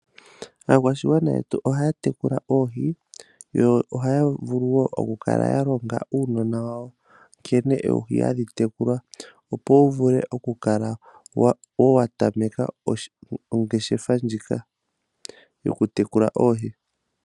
Aakwashigwana yetu ohaya tekula oohi, yo ohaya vulu wo okukala yalonga uunona wawo, nkene oohi hadhi tekulwa, opo wuvule okukala watameka ongeshefa ndjika yokutekula oohi.